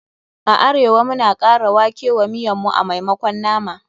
A arewa, muna kara wake wa miyan mu a maimakon nama.